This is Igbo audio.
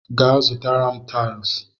Gaa zụtara m taịls!